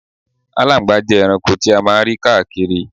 Aláńgbàá jẹ́ ẹranko ti a máa ń rí káàkiri.